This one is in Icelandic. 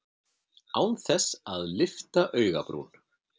Án þess að lyfta augabrún.